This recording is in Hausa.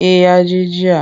Eh ya je jiya.